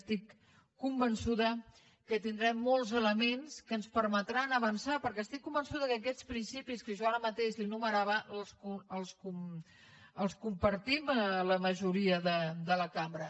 estic convençuda que tindrem molts elements que ens permetran avançar perquè estic convençuda que aquests principis que jo ara mateix li enumerava els compartim la majoria de la cambra